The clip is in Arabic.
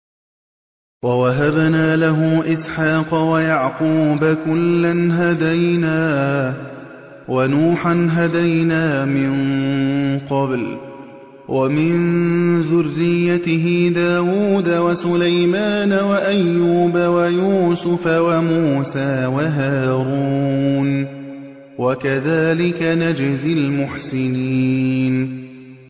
وَوَهَبْنَا لَهُ إِسْحَاقَ وَيَعْقُوبَ ۚ كُلًّا هَدَيْنَا ۚ وَنُوحًا هَدَيْنَا مِن قَبْلُ ۖ وَمِن ذُرِّيَّتِهِ دَاوُودَ وَسُلَيْمَانَ وَأَيُّوبَ وَيُوسُفَ وَمُوسَىٰ وَهَارُونَ ۚ وَكَذَٰلِكَ نَجْزِي الْمُحْسِنِينَ